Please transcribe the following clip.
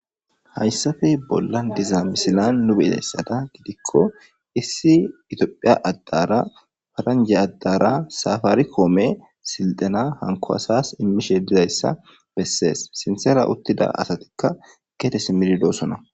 hayssafe bollan diza misilan nu beizayssada gidikko issi itiophiya addara faranje addara safaari koome silxana hanko asas immishe dizayssa bessees sinthera uttida asatikka keete simmidi doosona